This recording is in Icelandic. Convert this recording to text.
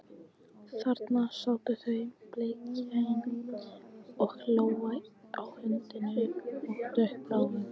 Þarna sátu þau, beljakinn og Lóa, á húddinu á dökkbláum